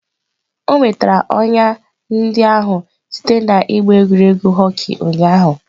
O nwetara ọnya ndị ahụ site n'ịgba egwuregwu hockey ụnyahụ.